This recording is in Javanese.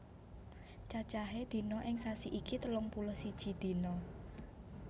Cacahe dina ing sasi iki telung puluh siji dina